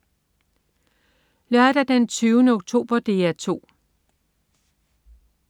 Lørdag den 20. oktober - DR 2: